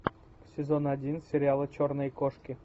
сезон один сериала черные кошки